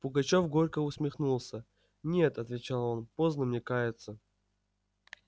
пугачёв горько усмехнулся нет отвечал он поздно мне каяться